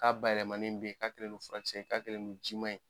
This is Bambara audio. K'a bayɛlɛmani bɛ yen, k'a kɛlen no farakisɛ ye, k'a kɛlen no jiman ye.